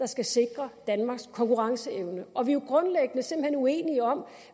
skal sikre danmarks konkurrenceevne og vi jo grundlæggende uenige om